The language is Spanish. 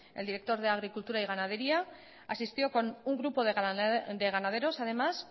el director de agricultura y ganadería asistió con un grupo de ganaderos además